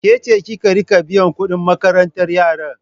Ke ceza ki riƙa biyan kuɗin makarantar yara?